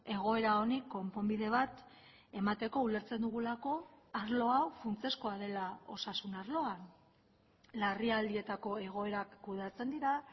egoera honi konponbide bat emateko ulertzen dugulako arlo hau funtsezkoa dela osasun arloan larrialdietako egoerak kudeatzen dira